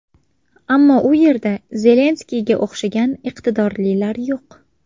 Ammo u yerda Zelenskiyga o‘xshagan iqtidorlilar yo‘q.